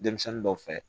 Denmisɛnnin dɔw fɛ